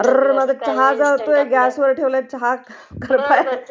अररररर...माझा चहा जळतोय ....ग्रसवर ठेवला चहा